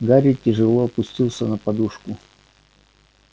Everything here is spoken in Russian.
гарри тяжело опустился на подушку